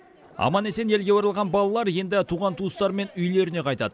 аман есен елге оралған балалар енді туған туыстарымен үйлеріне қайтады